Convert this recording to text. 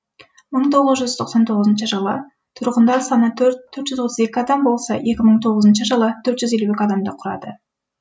мың тоғыз жүз тоқсан тоғызыншы жылы тұрғындар саны төрт жүз отыз екі адам болса екі мың тоғызыншы жылы төрт жүз елу екі адамды құрады